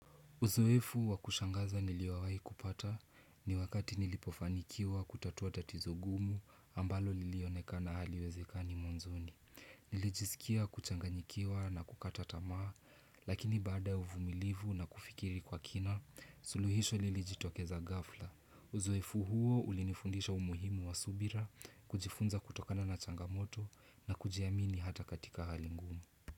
Uzoefu wa kushangaza niliowai kupata ni wakati nilipofanikiwa kutatuwa tatizo gumu ambalo lilionekana haliwezekani mwanzoni. Nilijisikia kuchanganyikiwa na kukata tamaa lakini baada ya uvumilivu na kufikiri kwa kina suluhisho lilijitokeza ghafla. Uzoefu huo ulinifundisha umuhimu wa subira kujifunza kutokana na changamoto na kujiamini hata katika hali ngumu.